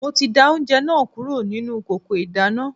Mi ò tíì da oúnjẹ náà kúrò nínú kòkò ìdáná